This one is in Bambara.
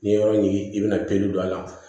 N'i ye yɔrɔ ɲi i bɛna pelu don a la